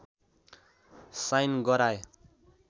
sign गराए